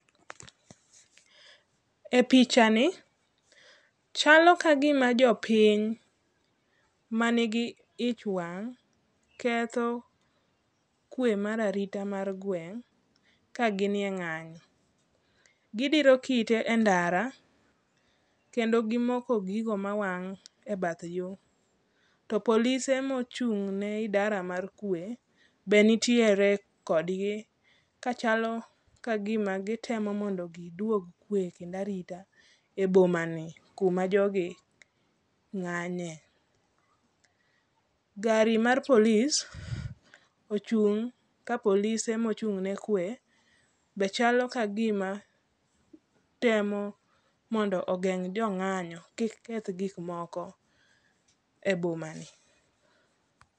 E pichani, chalo ka gima jopiny, manigi ich wang', ketho kwe mar arita mar gweng' ka ginie ng'anyo. Gidiro kite e ndara, kendo gimoko gigo mawang' e bath yo. to polise mochung' ne idara mar kwe be nitiere kodgi kachalo ka gima gitemo mondo giduog kwe kendo arita e boma ni kuma jogi ng'anye. Gari mar polis ochung' ka polise mochung' ne kwe be chalo ka gima temo mondo ogeng' jo ng'anyo kik keth gik moko e boma ni